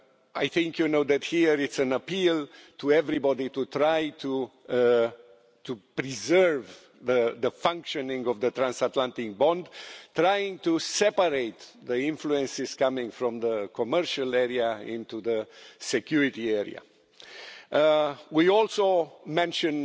I think you know that, here, it's an appeal to everybody to try to preserve the functioning of the transatlantic bond, trying to separate the influences coming from the commercial area into the security area. We also mention